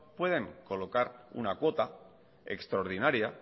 pueden colocar una cuota extraordinaria